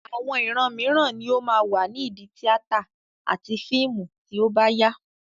Àwọn ìran mìíràn ni ó máa wà ní ìdí tíátà àti fíìmù tí ó bá yá.